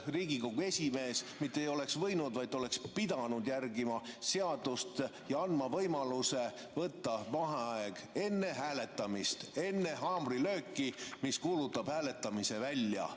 Riigikogu esimees mitte ei oleks võinud järgida, vaid ta oleks pidanud järgima seadust ja andma võimaluse võtta vaheaeg enne hääletamist, enne haamrilööki, mis kuulutab hääletamise välja.